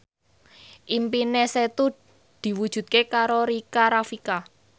impine Setu diwujudke karo Rika Rafika